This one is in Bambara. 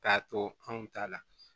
K'a to anw ta la